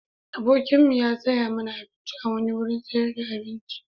Abokimu ya saya mana abinci a wani wurin sayar da abinci.